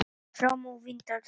Fram á Vindárdal.